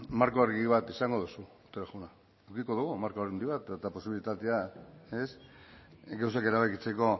marko argi bat izango duzu otero jauna edukiko dugu marko argi bat eta posibilitatea gauzak erabakitzeko